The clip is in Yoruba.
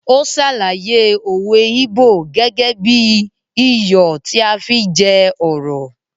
Ó sàlàyé òwe íbò gẹ́gẹ́ bí i “ iyọ̀ tí à á fi jẹ ọ̀rọ̀ ”.